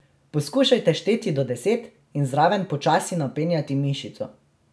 Poskušajte šteti do deset in zraven počasi napenjati mišico.